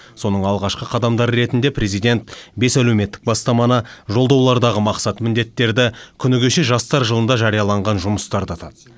соның алғашқы қадамдары ретіде президент бес әлеуметтік бастаманы жолдаулардағы мақсат міндеттерді күні кеше жастар жылында жарияланған жұмыстарды атады